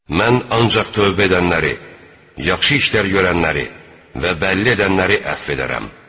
Mən ancaq tövbə edənləri, yaxşı işlər görənləri və bəlli edənləri əfv edərəm.